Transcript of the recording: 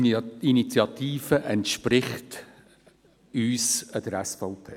Die Initiative entspricht uns, der SVP.